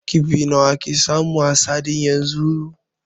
Kifi nawa ake samu a sadin yanzu?